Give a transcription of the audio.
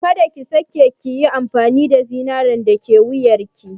Ka da ki sake yin amfani da zinaren da yake wuyarki.